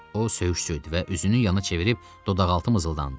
O söyüş söydü və üzünü yana çevirib dodaqaltı mızıldandı.